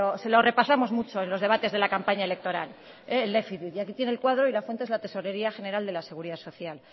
se lo repasamos mucho en los debates de la campaña electoral el déficit y aquí tiene el cuadro y la fuente es la tesorería general de la seguridad social